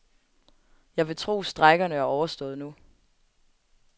Jeg vil tro, strejkerne er overstået nu.